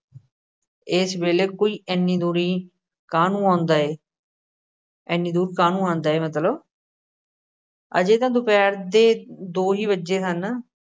ਏਸ ਵੇਲ਼ੇ ਕੋਈ ਏਨੀ ਦੂਰੀ ਕਾਹਨੂੰ ਆਉਂਦਾ ਏ ਇੰਨੀ ਦੂਰ ਕਾਹਨੂੰ ਆਉਂਦਾ ਹੈ ਮਤਲਬ ਹਜੇ ਤਾਂ ਦੁਪਹਿਰ ਦੇ ਦੋ ਹੀ ਵੱਜੇ ਹਨ,